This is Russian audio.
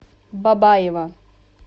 бабаево